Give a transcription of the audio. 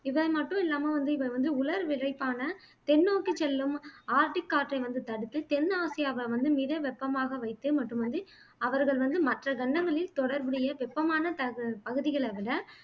இவை மட்டுமில்லாமல் வந்து இவை வந்து உலர் விரைப்பான தென் நோக்கிச் செல்லும் ஆர்க்டிக் காற்றை வந்து தடுத்து தென் ஆசியாவை வந்து மித வெப்பமாக வைத்து மற்றும் அது அவர்கள் வந்து மற்ற கண்டங்களில் தொடர்புடைய வெப்பமான பகுதிகளை விட